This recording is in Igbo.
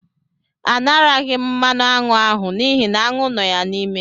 A naraghị m mmanụ aṅụ ahụ n'ihi aṅụ nọ ya n'ime.